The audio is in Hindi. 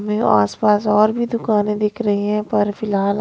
आस-पास और भी दुकानें दिख रही हैं पर फिलहाल--